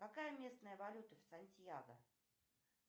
какая местная валюта в сантьяго